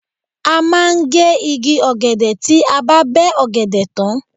A máa ń gé igi ọ̀gẹ̀dẹ̀ tí a bá bẹ́ ọ̀gẹ̀dẹ̀ tán.